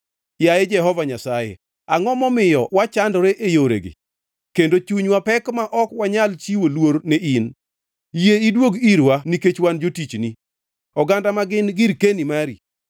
Yaye Jehova Nyasaye, angʼo momiyo wachandore e yoregi kendo chunywa pek ma ok wanyal chiwo luor ne in? Yie iduog irwa nikech wan jotichni, oganda ma gin girkeni mari.